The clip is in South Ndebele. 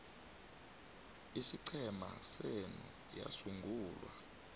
isiqhema senu yasungulwa